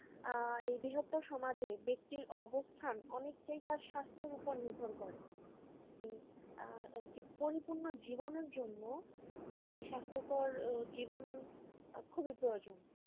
আহ এই বৃহত্ত সমাজে ব্যক্তির অবস্থান অনেকটাই তার স্বাস্থ্যের উপর নির্ভর করে একটা পরিপূর্ণ জীবনের জন্য একটা স্বাস্থ্যকর জীবন খুবই প্রয়োজন ।